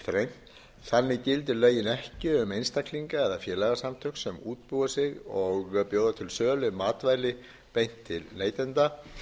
þrengt þannig gildi lögin ekki um einstaklinga eða félagasamtök sem útbúi sig og bjóða til sölu matvæli beint til neytenda